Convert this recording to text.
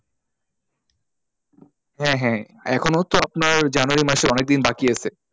হ্যাঁ, হ্যাঁ এখনো তো আপনার january মাসের অনেক দিন বাকি আছে।